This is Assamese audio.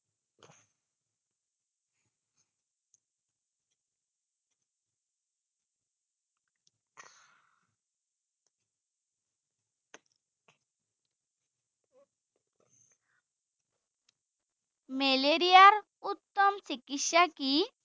মেলেৰিয়াৰ উত্তম চিকিৎসা কি?